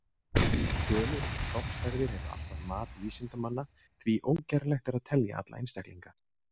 Tölur um stofnstærðir eru alltaf mat vísindamanna því ógerlegt er að telja alla einstaklinga.